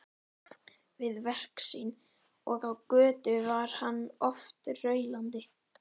Við verk sín og á götu var hann oft raulandi.